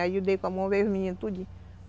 Aí eu dei com a mão e veio os meninos tudinho.